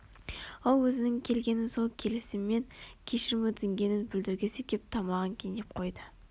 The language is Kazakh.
ол өзінің келгенін сол келісімен кешірім өтінгенін білдіргісі кеп тамағын кенеп қойды